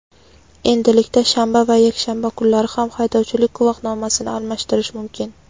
Endilikda shanba va yakshanba kunlari ham haydovchilik guvohnomasini almashtirish mumkin.